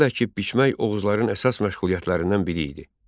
Daxılı əkib biçmək Oğuzların əsas məşğuliyyətlərindən biri idi.